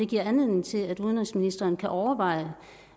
giver anledning til at udenrigsministeren kan overveje